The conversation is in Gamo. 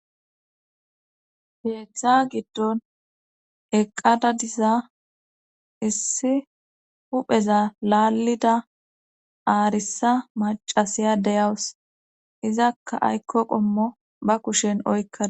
Keeththa giddon eqqada diza issi hupheza laalida aarissa macasiya deyawus izakka aykko qommo ba kushen oykka